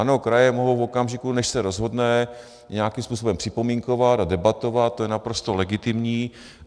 Ano, kraje mohou v okamžiku, než se rozhodne, nějakým způsobem připomínkovat a debatovat, to je naprosto legitimní.